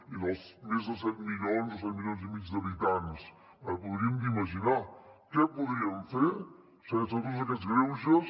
i els més de set milions o set milions i mig d’habitants hauríem imaginar què podríem fer sense tots aquests greuges